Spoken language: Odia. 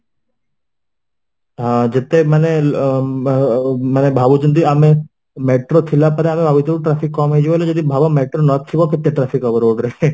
ହଁ, ଯେତେ ମାନେ ଉଁ ଆଁ ମାନେ ଭାବୁଛନ୍ତି ଆମେ metro ଥିଲା ପରେ ଆମେ ଭାବୁଥିବୁ traffic କମ ହେଇଯିବ ବୋଲି ଯଦି ଭାବ metro ନ ଥିବା କେତେ traffic ହବ road ରେ